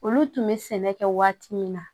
Olu tun bɛ sɛnɛ kɛ waati min na